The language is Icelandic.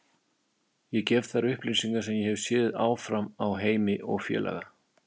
Ég gef þær upplýsingar sem ég hef séð áfram á Heimi og félaga.